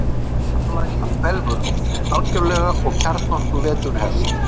Ósonlagið hverfur algjörlega og kjarnorkuvetur hefst.